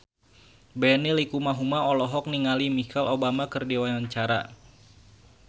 Benny Likumahua olohok ningali Michelle Obama keur diwawancara